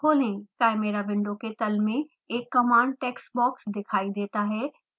chimera window के तल में एक command text box दिखाई देता है